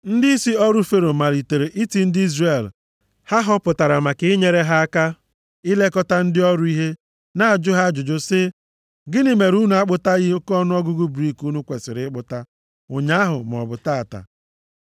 Ndịisi ọrụ Fero malitere iti ndị Izrel ha họpụtara maka inyere ha aka ilekọta ndị ọrụ ihe, na-ajụ ha ajụjụ sị, “Gịnị mere unu akpụtaghị oke ọnụọgụgụ brik unu kwesiri ịkpụta ụnyaahụ maọbụ taa?”